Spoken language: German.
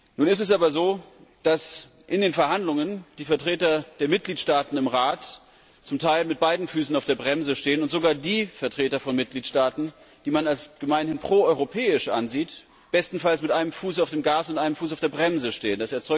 Nun ist es aber so, dass in den Verhandlungen die Vertreter der Mitgliedstaaten im Rat zum Teil mit beiden Füßen auf der Bremse stehen und sogar die Vertreter von Mitgliedstaaten, die man als gemeinhin proeuropäisch ansieht, bestenfalls mit einem Fuß auf dem Gas und einem Fuß auf der Bremse stehen.